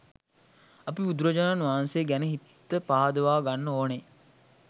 අපි බුදුරජාණන් වහන්සේ ගැන හිත පහදවාගන්න ඕන